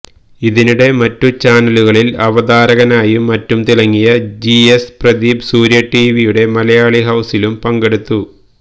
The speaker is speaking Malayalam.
ഇതിനിടെ മറ്റു ചാനലുകളിൽ അവതാരകനായും മറ്റും തിളങ്ങിയ ജി എസ് പ്രദീപ് സൂര്യ ടിവിയുടെ മലയാളി ഹൌസിലും പങ്കെടുത്തു